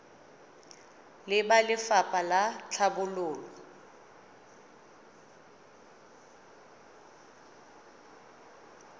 le ba lefapha la tlhabololo